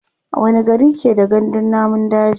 wani gari ke da gandun namun daji?